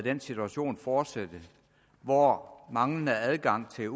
den situation fortsætte hvor manglende adgang til